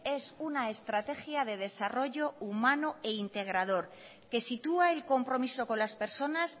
es una estrategia de desarrollo humano e integrador que sitúa el compromiso con las personas